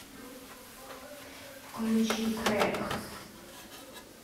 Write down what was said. включи крэк